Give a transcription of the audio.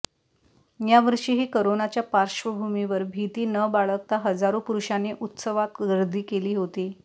यावर्षीही करोनाच्या पार्श्वभूमीवर भीती न बाळगता हजारो पुरुषांनी उत्सवात गर्दी केली होती